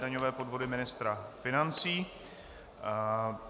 Daňové podvody ministra financí